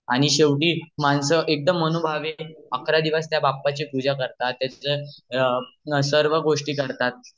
आणि शेवटी मानस एकदम मनोभावेने अकरा दिवस त्या बापाची पूजा करतात सर्व गोष्टी करतात